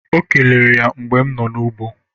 O kelere m mgbe no n'ụgbọ